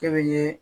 Kɛli ye